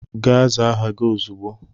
Gaa zaa aha gị ozugbo!